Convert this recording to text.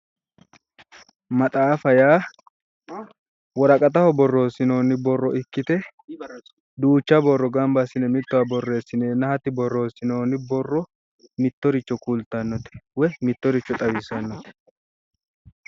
Maxaafa yaa woraqataho borreessinoonni borro ikkite duucha borro gamba assine mittowa borreessineenna hatti borreessinoonni borro mittoricho kultannote, mittoricho xawissannote.